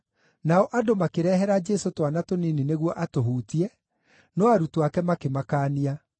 Nao andũ makĩrehera Jesũ twana tũnini nĩguo atũhutie, no arutwo ake makĩmakaania.